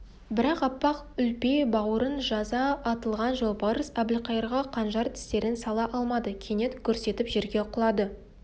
бірақ аппақ үлпе бауырын жаза атылған жолбарыс әбілқайырға қанжар тістерін сала алмады кенет гүрс етіп жерге құлады